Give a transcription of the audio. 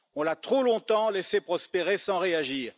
On l'a trop longtemps laissé prospérer sans réagir.